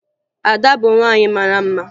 Ada bụ nwaanyị mara mma